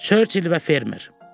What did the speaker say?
Churchill və fermer.